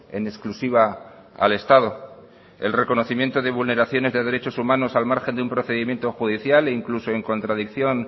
en exclusiva al estado el reconocimiento de vulneraciones de derechos humanos al margen de un procedimiento judicial e incluso en contradicción